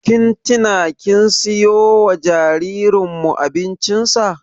Kin tina kin siyo wa jaririn mu abincin sa?